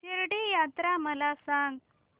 शिर्डी यात्रा मला सांग